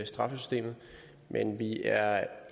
straffesystemet men vi er